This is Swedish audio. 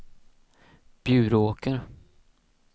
Bjuråker